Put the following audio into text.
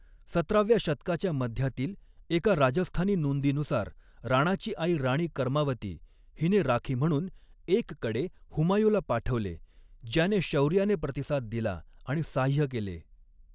सतराव्या शतकाच्या मध्यातील एका राजस्थानी नोंदीनुसार, राणाची आई राणी कर्मावती हिने राखी म्हणून एक कडे हुमायूँला पाठवले, ज्याने शौर्याने प्रतिसाद दिला आणि साह्य केले.